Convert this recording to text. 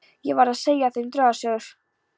Ég verð að segja þeim draugasögur.